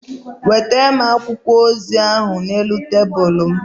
Weta m akwụkwọ ozi ahụ n'elu tebụl m.